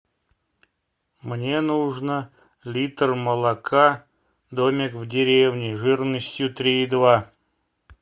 мне нужно литр молока домик в деревне жирностью три и два